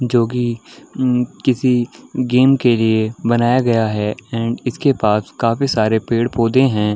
जो की म किसी गेम के लिए बनाया गया है एंड इसके पास काफी सारे पेड़-पौधे हैं।